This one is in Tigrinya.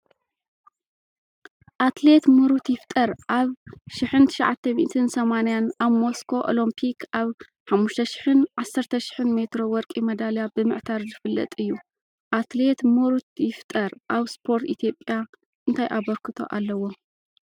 ኣትሌት ምሩት ይፍጠር ኣብ 1980 ኣብ ሞስኮ ኦሎምፒክ ኣብ 5,000ን 10,000ን ሜትሮ ወርቂ መዳልያ ብምዕታር ዝፍለጥ እዩ። ኣትሌት ምሩት ይፍጠር ኣብ ስፖርት ኢትዮጵያ እንታይ ኣበርክቶ ኣለዎ?